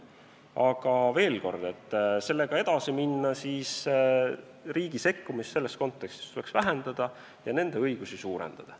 Aga veel kord: kui sellega edasi minna, tuleks riigi sekkumist selles kontekstis vähendada ja kohalike õigusi suurendada.